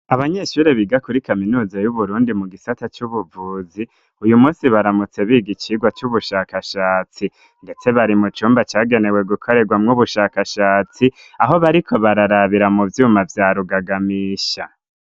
Abanyeshure biga kuri kaminuza y'uburundi mu gisata c'ubuvuzi uyu munsi baramutse biga icigwa cy'ubushakashatsi ndetse bari mu cumba cyagenewe gukoregwa mw'ubushakashatsi aho bariko bararabira mu byuma vya rugagamisha.